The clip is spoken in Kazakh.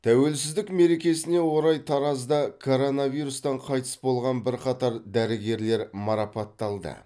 тәуелсіздік мерекесіне орай таразда коронавирустан қайтыс болған бірқатар дәрігерлер марапатталды